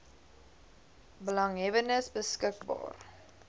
belanghebbendes beskik baar